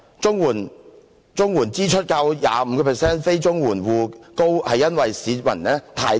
綜援住戶支出較 25% 非綜援住戶支出高，是因為市民太貧窮。